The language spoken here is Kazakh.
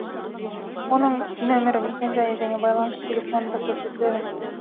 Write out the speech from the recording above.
оның нөмірі мекенжайы және байланыс телефоны да көрсетіледі